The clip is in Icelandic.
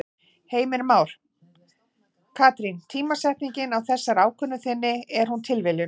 Heimir Már: Katrín tímasetningin á þessari ákvörðun þinni, er hún tilviljun?